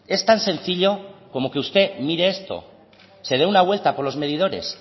es tan sencillo como que usted mire esto se dé una vuelta por los medidores